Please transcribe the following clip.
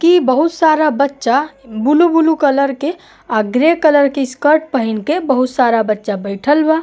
कि बहुत सारा बच्चा बुलु बुलु कलर के आ ग्रे कलर के स्कर्ट पहिन के बहुत सारा बच्चा बइठल बा।